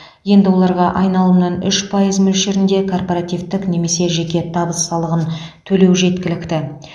енді оларға айналымнан үш пайыз мөлшерінде корпоративтік немесе жеке табыс салығын төлеу жеткілікті